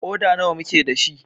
Ƙoda nawa muke da shi?